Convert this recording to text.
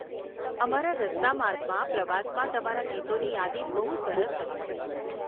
અમારા રસ્તા માર્ગના પ્રવાસમાં તમારા ગીતોની યાદી બહુ સરસ હતી.